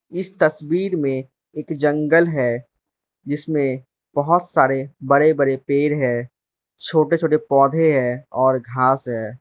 इस तस्वीर में एक जंगल है जिसमें बहोत सारे बड़े बड़े पेड़ है छोटे छोटे पौधे हैं और घास है।